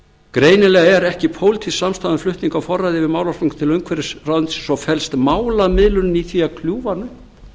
greinilega er ekki pólitísk samstaða um flutning á forræði yfir málaflokknum til umhverfisráðuneytisins og felst málamiðlun í því að kljúfa hann